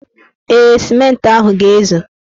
Ee, sịmentị ahụ ga-ezu.